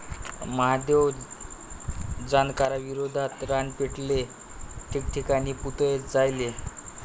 महादेव जानकरांविरोधात रान पेटले, ठिकठिकाणी पुतळे जाळले